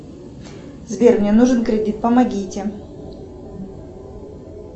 сбер мне нужен кредит помогите